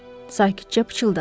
sakibcə pıçıldadı.